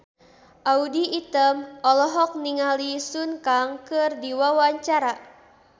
Audy Item olohok ningali Sun Kang keur diwawancara